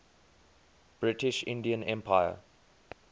british indian empire